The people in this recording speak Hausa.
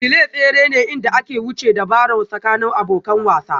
Relay tsere ne inda aka wuce ta Barron tsakanin abokan wasan